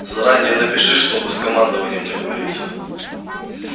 заранее напиши чтобы с командованием договориться